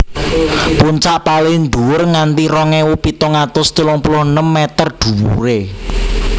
Puncak palin dhuwur nganti rong ewu pitung atus telung puluh enem meter dhuwuré